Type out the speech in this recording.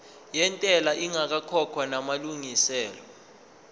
yentela ingakakhokhwa namalungiselo